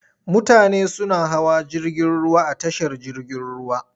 Mutane suna hawa jirgin ruwa a tashar jirgin ruwa.